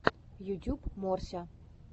ютюб морся